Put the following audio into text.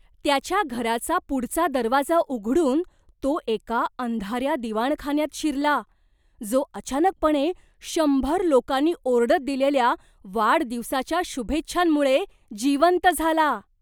त्याच्या घराचा पुढचा दरवाजा उघडून तो एका अंधाऱ्या दिवाणखान्यात शिरला, जो अचानकपणे शंभर लोकांनी ओरडत दिलेल्या वाढदिवसाच्या शुभेच्छांमुळे जिवंत झाला.